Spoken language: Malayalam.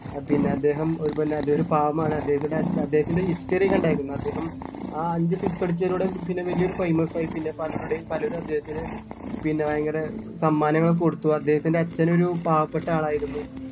ആഹ് പിന്നെ അദ്ദേഹം ഒരു പിന്നെ അദ്ദേഹത്തിൻ്റെ അച്ഛ അദ്ദേഹത്തിൻ്റെ history കണ്ടാരുന്ന അദ്ദേഹം ആ അഞ്ച് six അടിച്ചതിലൂടെ പിന്നെ വലിയൊരു famous ആയി പിന്നെ പലരുടേം പലരും അദ്ദേഹത്തതിന് പിന്നെ ഭയങ്കര സമ്മാനങ്ങൾ ഒക്കെ കൊടുത്തു അദ്ദേഹത്തിന്റെ അച്ഛൻ ഒരു പാവപ്പെട്ട ആളായിരുന്നു